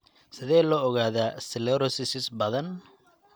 Sidee lagu ogaadaa sclerosis badan?